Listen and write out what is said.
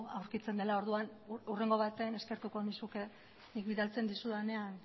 aurkitzen dela orduan hurrengo batean eskertuko nizuke nik bidaltzen dizudanean